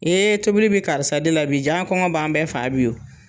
tobili bi karisa de la bi ja kɔŋɔ b'an bɛɛ faa bi o.